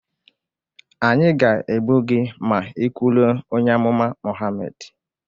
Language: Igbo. anyị ga-egbu gị ma ị kwuluo onye amụma Mohammed